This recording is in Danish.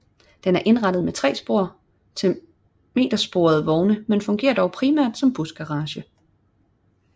Den er indrettet med tre spor til metersporede vogne men fungerer dog primært som busgarage